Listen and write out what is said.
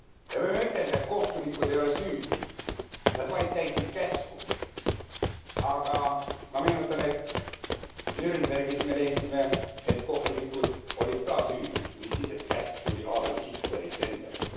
Ja me võime ütelda, et kohtunikud ei ole süüdi, nad vaid täitsid käsku, aga ma meenutan, et Nürnbergis me leidsime, et kohtunikud olid ka süüdi, mis siis, et käsk tuli Adolf Hitlerilt endalt.